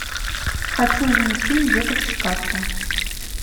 хочу увидеть фильм детоксикация